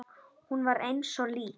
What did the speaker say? Hún var eins og lík.